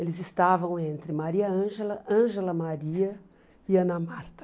Eles estavam entre Maria Ângela, Ângela Maria e Ana Marta.